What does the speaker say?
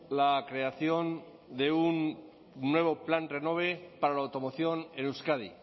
la creación de un nuevo plan renove para la automoción en euskadi